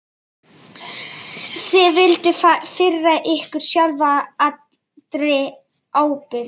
Þið vilduð firra ykkur sjálfa allri ábyrgð.